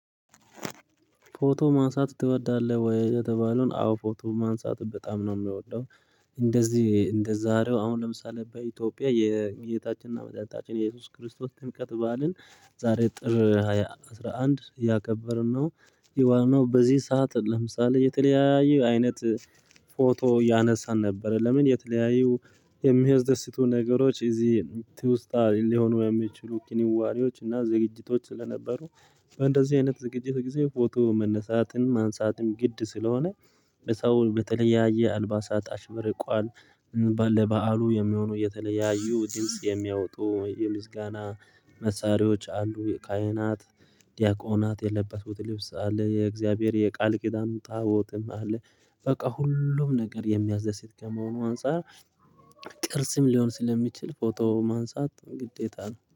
ፎቶ ማንሳት ትወዳለህ ወይ? የተባለውን አዎ ፎቶ ማንሳት በጣም ነው ምወደው። እንደዚህ እንደዛሬው አሁን ለምሳሌ በኢትዮጵያ የጌታችንና መድኃኒታችን የኢየሱስ ክርስቶስ ጥምቀት በዓልን ዛሬ ጥር ሃያ አስራ አንድ እያከበርን ነው ይሄው ነው በዚህ ሰዓት ለምሳሌ የተለያየ አይነት ፎቶ እያነሳን ነበረ። ለምን? የተለያዩ የሚያደስቱ ነገሮች እዚህ ትውስታ ሊሆኑ የሚችሉ ክንዋኔዎች እና ዝግጅቶች ስለነበሩ። በእንደዚህ አይነት ዝግጅት ጊዜ ፎቶ መነሳትን ማንሳትም ግድ ስለሆነ በሰው በተለያየ አልባሳት አሽበርቋል። እን ለባል ለበአሉ የሚሆኑ የተለያዩ ድምጽ የሚያወጡ የምስጋና መሳሪያዎች አንዱ የካሂናት ዲያቆናት የለበሱት ልብስ አለ። የእግዚአብሔር የቃል ኪዳኑ ጣቦትም አለ። በቃ ሁሉም ነገር የሚያዝህ ሴት ከመሆኑ አንፃር ቅርስም ሊሆን ስለሚችል ፎቶ ማንሳት ግዴታ ነው